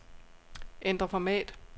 Ændr format.